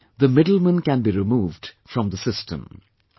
That is how the middlemen can be removed from the system